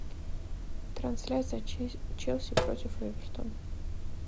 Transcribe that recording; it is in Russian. трансляция челси против эвертон